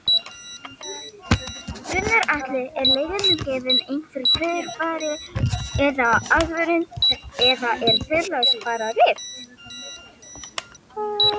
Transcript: Gunnar Atli: Er leigjendum gefinn einhver fyrirvari eða aðvörun eða er fyrirvaralaust bara rift?